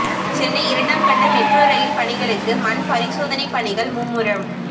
சென்னை இரண்டாம் கட்ட metro rail பணிகளுக்கு மண் பரிசோதனை பணிகள் மும்முரம்